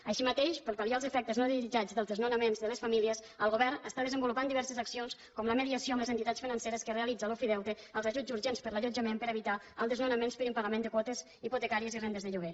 així mateix per pal·liar els efectes no desitjats dels desnonaments de les famílies el govern està desenvolupant diverses accions com la mediació amb les entitats financeres que realitza l’ofideute els ajuts urgents per a l’allotjament per a evitar els desnonaments per impagament de quotes hipotecàries i rendes de lloguer